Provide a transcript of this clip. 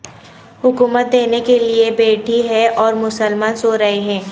حکومت دینے کے لئے بیٹھی ہے اور مسلمان سو رہے ہیں